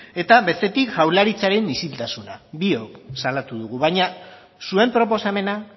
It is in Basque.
eta bestetik jaurlaritzaren isiltasuna biok salatu dugu baina zuen proposamena